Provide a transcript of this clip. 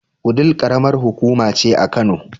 Wudil ƙaramar hukuma ce a Kano.